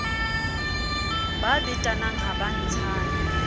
ba betanang ha ba ntshane